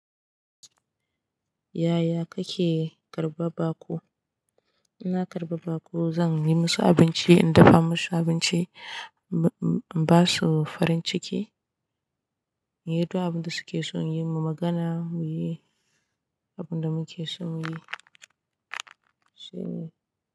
Yaya kake karba baƙo? Ina karɓa ba ku, zan yi musu abinci, in dafa musu abinci, ba su farin ciki. Inyi duk abin da suke so mu yi, mu magana mu yi abin da muke so mu yi.